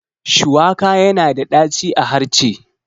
Shuwaka yana da ɗaci a harce